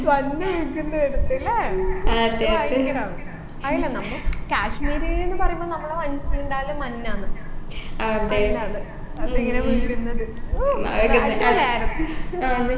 മഞ്ഞ് വികുന്ന അടുത്തല്ലേ അത് ഭയങ്കരാന്ന് അഅന്നെ നമ്മ കാശ്മീര്ന്ന് പറയുമ്പൊ നമ്മള മനസ്സിലുണ്ടാവൽ മഞ്ഞാന്ന് മഞ്ഞാന്ന് അതിങ്ങനെ വീഴുന്നത് ഹോ ഭയങ്കരായിരുന്നു